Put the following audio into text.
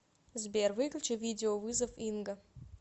сбер выключи видеовызов инга